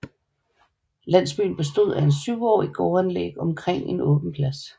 Landsbyen bestod af syv gårdanlæg omkring en åben plads